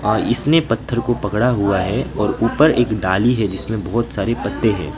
इसने पत्थर को पकड़ा हुआ है और ऊपर एक डाली है जिसमें बहुत सारे पत्ते हैं।